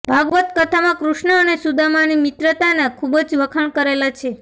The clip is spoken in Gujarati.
ભાગવત કથામાં કૃષ્ણ અને સુદામાની મિત્રતાના ખુબ જ વખાણ કરેલા છે